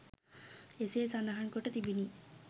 එසේ සඳහන් කොට තිබිණි